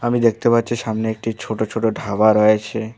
আমি দেখতে পাচ্ছি সামনে একটি ছোটো ছোটো ঢাবা রয়েছে।